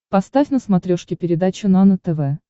поставь на смотрешке передачу нано тв